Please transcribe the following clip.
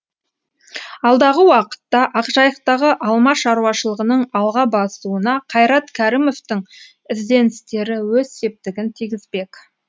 алдағы уақытта ақжайықтағы алма шаруашылығының алға басуына қайрат кәрімовтің ізденістері өз септігін тигізбек